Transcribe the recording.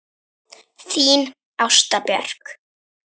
Þín Ásta Björk.